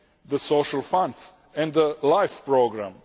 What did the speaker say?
the Social Funds and the LIFE Programme.